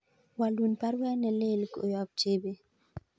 Walun baruet nelelach koyob Chebet